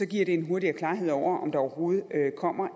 giver det en hurtigere klarhed over om der overhovedet kommer